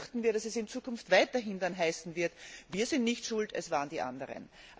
Hier befürchten wir, dass es in Zukunft weiterhin heißen wird Wir sind nicht schuld, es waren die anderen.